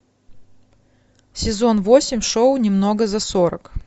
сезон восемь шоу немного за сорок